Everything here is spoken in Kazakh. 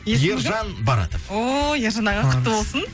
ержан баратов ооо ержан аға құтты болсын